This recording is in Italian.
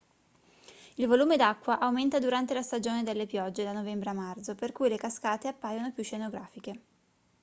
il volume d'acqua aumenta durante la stagione delle piogge da novembre a marzo per cui le cascate appaiono più scenografiche